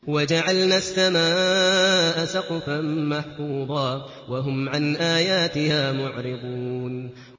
وَجَعَلْنَا السَّمَاءَ سَقْفًا مَّحْفُوظًا ۖ وَهُمْ عَنْ آيَاتِهَا مُعْرِضُونَ